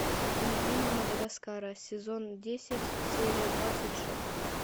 пингвины мадагаскара сезон десять серия двадцать шесть